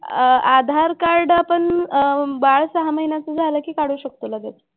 अह आधार कार्ड आपण अह बाळ सहा महिन्याचं झालं की काढू शकतो लगेच.